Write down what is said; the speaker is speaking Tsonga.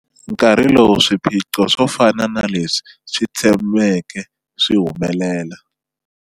Nkarhi lowu swiphiqo swo fana na leswi swi tshameke swi humelela.